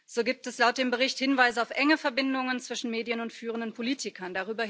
So gibt es laut dem Bericht Hinweise auf enge Verbindungen zwischen Medien und führenden Politikern.